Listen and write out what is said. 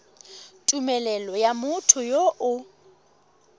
tumelelo ya motho yo o